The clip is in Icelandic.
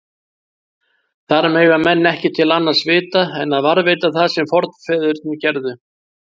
Þar mega menn ekki til annars vita en að varðveita það sem forfeðurnir gerðu.